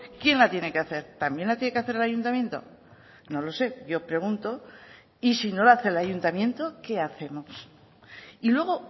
quién la tiene que hacer también la tiene que hacer el ayuntamiento no lo sé yo pregunto y si no lo hace el ayuntamiento qué hacemos y luego